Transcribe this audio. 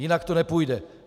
Jinak to nepůjde.